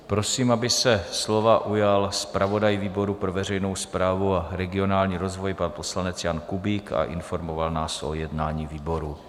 Prosím, aby se slova ujal zpravodaj výboru pro veřejnou správu a regionální rozvoj, pan poslanec Jan Kubík, a informoval nás o jednání výboru.